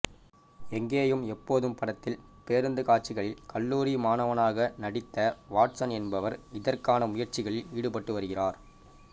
எங்கேயும் எப்போதும் படத்தில் பேருந்து காட்சிகளில் கல்லூரி மாணவனாக நடித்த வாட்சன் என்பவர் இதற்கான முயற்சிகளில் ஈடுபட்டு வருகிறார்